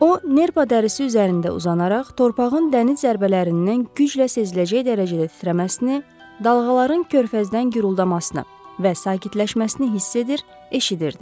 O nerpa dərisi üzərində uzanaraq torpağın dəniz zərbələrindən güclə seziləcək dərəcədə titrəməsini, dalğaların körfəzdən guruldamasını və sakitləşməsini hiss edir, eşidirdi.